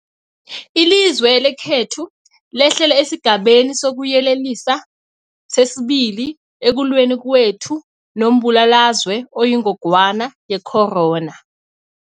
Ilizwe lekhethu lehlele esiGabeni sokuYelelisa sesi-2 ekulweni kwethu nombulalazwe oyingogwana ye-corona.